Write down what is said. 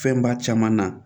Fɛnba caman na